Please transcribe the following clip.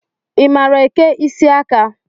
I maara eke isiaka?